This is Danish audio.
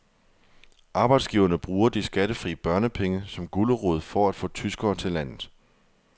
Arbejdsgiverne bruger de skattefri børnepenge som gulerod for at få tyskere til landet.